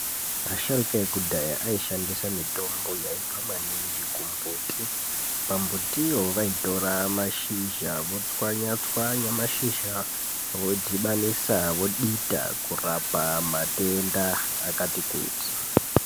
Asharukwa ekudhaya aishandise mitombo yaibva maningi kumbuti . Pambuti iyo vaitora mashizha votswanyatswanya mashizha vodhibanisa vodita kurapa matenda akati kuti .